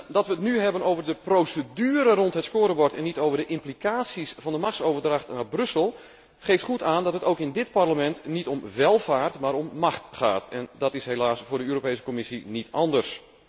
Dat wij het nu hebben over de procedure rond het scorebord en niet over de implicaties van de machtsoverdracht naar Brussel, geeft goed aan dat het ook in dit Parlement niet om welvaart, maar om macht gaat, en dat is helaas voor de Europese Commissie niet anders.